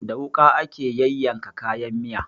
Da wuƙa ake yayyanka kayan miya